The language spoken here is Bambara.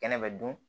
Kɛnɛ bɛ dun